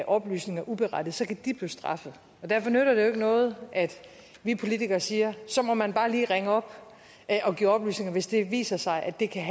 oplysninger uberettiget så kan de blive straffet og derfor nytter det jo ikke noget at vi politikere siger at så må man bare lige ringe op og give oplysninger altså hvis det viser sig at det kan